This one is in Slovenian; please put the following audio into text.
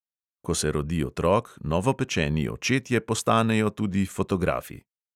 Ko se rodi otrok, novopečeni očetje postanejo tudi fotografi.